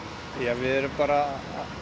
við erum bara